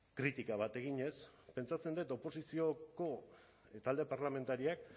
kritika bat eginez pentsatzen dut oposizioko talde parlamentarioak